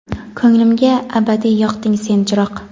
Ko‘nglimga abadiy yoqding sen chiroq.